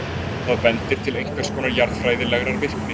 Það bendir til einhvers konar jarðfræðilegrar virkni.